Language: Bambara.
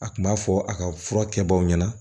A kun b'a fɔ a ka fura kɛbaw ɲɛna